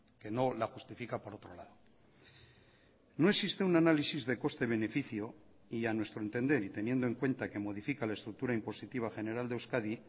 que no la justifica por otro lado no existe un análisis de coste beneficio y a nuestro entender y teniendo en cuenta que modifica la estructura impositiva general de euskadi